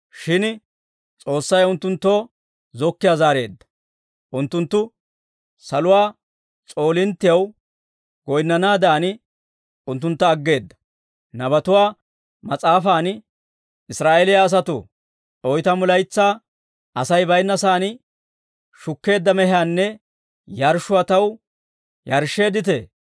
Shin S'oossay unttunttoo zokkiyaa zaareedda; unttunttu saluwaa s'oolinttiyaw goyinnanaadan, unttuntta aggeedda; nabatuwaa mas'aafan, « ‹Israa'eeliyaa asatoo, oytamu laytsaa, asay baynna saan shukkeedda mehiyaanne yarshshuwaa, taw yarshsheedditee?